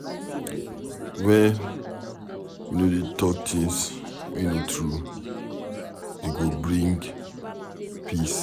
Wen we no dey talk things wey no true, e go bring peace.